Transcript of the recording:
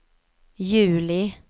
juli